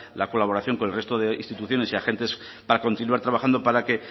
la colaboración con el resto de instituciones y agentes para continuar trabajando para que